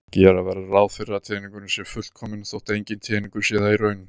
Gera verður ráð fyrir að teningurinn sé fullkominn þótt enginn teningur sé það í raun.